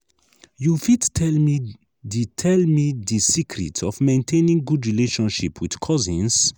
you fit tell me di tell me di secret of maintaining good relationship with cousins?